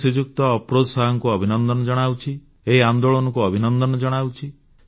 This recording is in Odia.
ମୁଁ ଶ୍ରୀଯୁକ୍ତ ଅଫରୋଜ ଶାହଙ୍କୁ ଅଭିନନ୍ଦନ ଜଣାଉଛି ଏହି ଆନ୍ଦୋଳନକୁ ଅଭିନନ୍ଦନ ଜଣାଉଛି